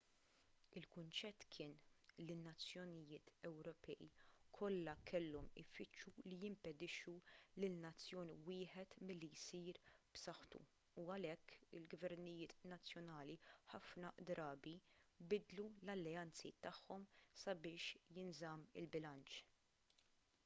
il-kunċett kien li n-nazzjonijiet ewropej kollha kellhom ifittxu li jimpedixxu lil nazzjon wieħed milli jsir b'saħħtu u għalhekk il-gvernijiet nazzjonali ħafna drabi bidlu l-alleanzi tagħhom sabiex jinżamm il-bilanċ